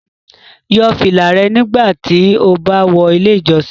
Yọ fila rẹ nigbati o ba wọ ile ijọsin